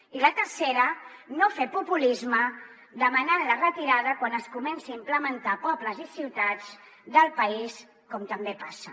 i la tercera no fer populisme demanant ne la retirada quan es comenci a implementar a pobles i ciutats del país com també passa